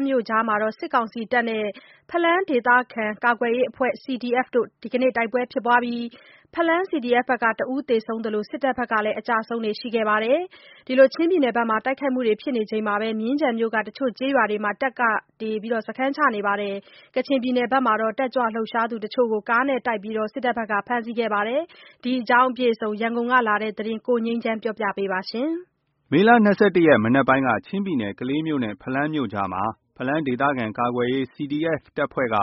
းမြို့ကြားမှာ စစ်ကောင်စီတပ်တွေနဲ့ ဖလမ်း ဒေသခံကာကွယ်ရေးအဖွဲ့ CDF တို့ ဒီကနေ့ တိုက်ပွဲဖြစ်ပွားခဲ့ပါတယ်။ ဖလမ်း CDF ဘက်က ၁ ယောက်သေဆုံးသလို စစ်တပ်ဖက်ကလည်း အကျအဆုံးရှိတယ်လို့ သူတို့က ပြောပါတယ်။ ချင်းပြည်နယ်ဘက်မှာ တိုက်ခိုက်မှုတွေ ဖြစ်နေချိန်၊ မြင်းခြံမြို့က တချို့ကျေးရွာတွေမှာ တပ်တွေ ချနေပါတယ်။ ကချင်ပြည်နယ်မှာတော့ တက်ကြွလှုပ်ရှားသူတွေကို ကားနဲ့တိုက်ပြီး ဖမ်းဆီးခဲ့ပါတယ်။ ဒီအကြောင်း အပြည့်အစုံ ရန်ကုန်ကလာတဲ့သတင်းကို ကိုငြိမ်းချမ်း ကပြောပြပါမယ်။ ဒီကနေ့ မေ ၂၁ ရက် မနက်ပိုင်းက ချင်းပြည်နယ် ကလေးမြို့နဲ့ ဖလမ်းမြို့ကြားမှာ ဖလမ်းဒေသခံကာကွယ်ရေး CDF တပ်ဖွဲ့က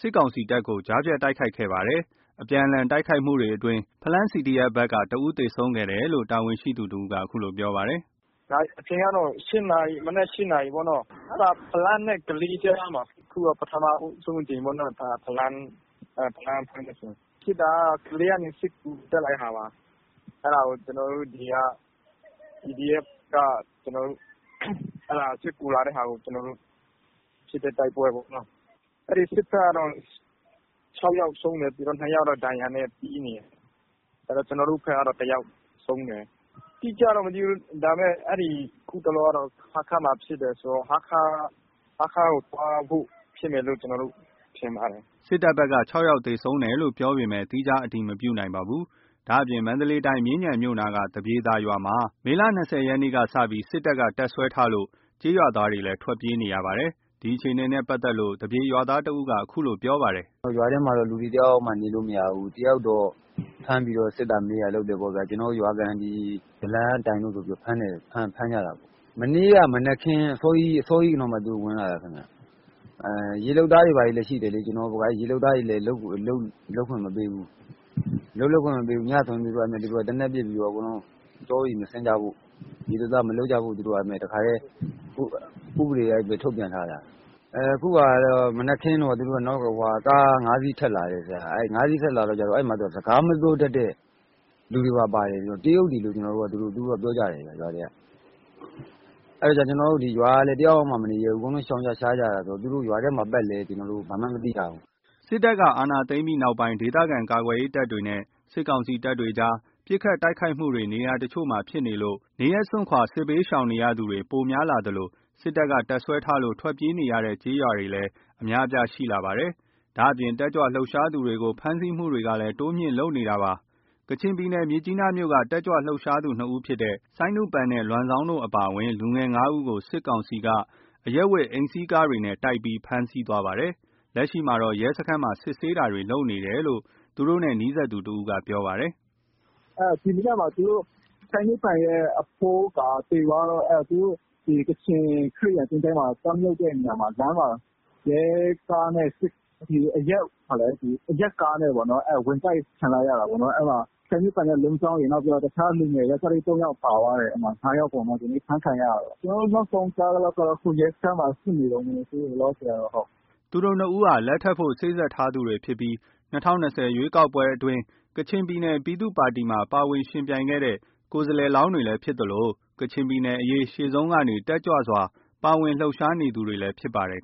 စစ်ကောင်စီတပ်ကို ကြားဖြတ်တိုက်ခိုက်ခဲ့ပါတယ်။ အပြန်အလှန်တိုက်ခိုက်မှုတွေအတွင်း ဖလမ်း CDF ဘက်က ၁ ဦး သေဆုံးခဲ့တယ်လို့ တာဝန်ရှိသူ တဦးက အခုလိုပြောပါတယ်။ “အချိန်ကတော့ မနက် ၈ နာရီပေါ့နော်။ ဖလမ်းနဲ့ကလေးကြားမှာ အခုကပထမဦးဆုံး အကြိမ်ပေါ့နော် ဖလမ်းအဖွဲ့နဲ့ဆိုရင် ဖြစ်တာက ကလေးက စစ်ကူတက်လာတဲ့ဟာ ကျွန်တော်တို့ဒီက CDF က စစ်ကူလာတဲ့ဟာကို ဖြစ်တဲ့တိုက်ပွဲပေါ့။ အဲ့ဒီစစ်တပ်ကတော ၆ ယောက်ဆုံးတယ် ၂ ယောက်က ဒဏ်ရာနဲ့ပြေးနေတယ်။ ကျွန်တော်တို့ ဘက်က ၁ ယောက်ဆုံးတယ်။ အတိအကျတော့မသိဘူး။ အခုတလော ဟားခါးမှာဖြစ်နေတာဆိုတော့ ဟားခါးကိုသွားဖို့ ဖြစ်မယ်ထင်တယ်။” စစ်တပ်ဖက်က ၆ ယောက်သေဆုံးတယ်လို့ ပြောပေမဲ့ သီးခြား အတည်မပြုနိုင်ပါဘူး။ ဒါ့အပြင် မန္တလေးတိုင်း မြင်းခြံမြို့နားက သပြေသာရွာမှာ မနေ့ မေ ၂၀ ရက်ကစပြီး စစ်တပ်က တပ်စွဲထားလို့ ကျေးရွာသားတွေဟာလည်း ထွက်ပြေးနေရပါတယ်။ ဒီအခြေအနေနဲ့ပတ်သက်လို သပြေသာရွာသားတဦးကအခုလိုပြောပါတယ်။ “ရွာထဲမှာတော့ တယောက်မှ နေလို့မရဘူး။ ဖမ်းပြီးတော့ စစ်တာမေးတာလုပ်တယ်ပေါ့ဗျာ။ ဒလံကတိုင်လို့ဆိုပြီး ဖမ်းတာလုပ်ကြတာပေါ့။ မနေ့ကမနက်ခင်း အစောကြီးကတည်းက ဝင်လာတာခင်ဗျ။ ရေလုပ်သားတွေလည်းရှိတယ်လေ။ ရေလုပ်သားတွေလည်း အလုပ်လုပ်ခွင့်မပေးဘူး။ ညဆိုလည်း သူတို့က သေနတ်ပစ်ပြီးတော့ အကုန်လုံး တောတွေမဆင်းကြဖို့ ရေလုပ်သား မလုပ်ကြဖို့ တခါတည်း ဥပဒေအရထုတ်ပြန်ထားတာ။ အခုမနက်ခင်းတော့ ကား ၅ စီးထပ်လာတယ်။ ၅ စီးထပ်လာတော့ စကားမပြောတတ်တဲ့လူတွေပါ ပါတယ်။ တရုတ်တွေလို့ပြောကြတယ်။ ကျွန်တော်တို့က အကုန်ရှောင်ကြ ရှားကြဆိုတော့ ဘာမှမသိရဘူး။” စစ်တပ်က အာဏာသိမ်းပြီးနောက်ပိုင်းမှာ ဒေသခံကာကွယ်ရေးတပ်တွေနဲ့ စစ်ကောင်စီတပ်တွေ ပစ်ခတ်တိုက်ခိုက်မှုတွေ နေရာတချို့မှာ ဖြစ်လို့ နေရပ်စွန့် စစ်ဘေးရှောင်နေရသူတွေ များလားသလို စစ်တပ်က တပ်စွဲထားလို့ ထွက်ပြေးနေရတဲ့ ကျေးရွာတွေလည်း အများအပြားရှိလာပါတယ်။ ဒါတင်မက တက်ကြွလှုပ်ရှားသူတွေကို ဖမ်းဆီးမှုတွေလည်း တိုးမြှင့်လုပ်နေပါတယ်။ ကချင်ပြည်နယ် မြစ်ကြီးနားမြို့က တက်ကြွလှုပ်ရှားသူ ၂ ဦးဖြစ်တဲ့ ဆိုင်းနူးပန်းနဲ့လွမ်းဇောင်းတို့အပါအဝင် လူငယ် ၅ ဦးကို စစ်ကောင်စီက အရပ်ဝတ် အိမ်စီးကားတွေနဲ့ တိုက်ပြီး ဖမ်းသွားပါတယ်။ လက်ရှိမှာတော့ ရဲစန်းမှာ စစ်ဆေးနေတာတွေလုပ်နေတယ်လို့ သူတို့နဲ့နီးစပ်သူ တဦးကပြောပါတယ်။ “ဒီမနက်မှာ ဆိုင်းနူးပန်းရဲ့အဖိုးကသေသွားတော့ သူတို့ကချင်ခရစ်ယာန်သချိုင်းမှာ သွားမြှုပ်ဖို့သွားတဲ့နေရာမှာ လမ်းမှာ အရပ်ကားနဲ့ဝင်တိုက်ခံလိုက်ရတာပေါ့နော်။ ဆိုင်းနူးပန်းနဲ့လွမ်းဇောင်းရယ် တခြားလူငယ် ၃ ယောက်ရယ် ပါသွားတယ်။ ၅ ယောက်ပေါ့နော်။ ဒီနေ့ပါသွားတာ။” သူတို့ ၂ ဦးဟာ လက်ထပ်ဖို့ စေ့စပ်ထားသူတွေဖြစ်ပြီး ၂၀၂၀ ရွေးကောက်ပွဲအတွင်း ကချင်ပြည်နယ် ပြည်သူ့ပါတီမှာ ဝင်ပြိုင်ခဲ့တဲ့ ကိုယ်စားလှယ်လောင်းတွေလည်း ဖြစ်သလို ကချင်ပြည်နယ်အရေး ရှေ့ဆုံးကနေ တက်ကြွစွာ ပါဝင်လှုပ်ရှားသူတွေလည်းဖြစ်ပါတယ်